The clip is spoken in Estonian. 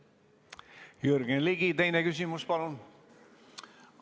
Jürgen Ligi, teine küsimus, palun!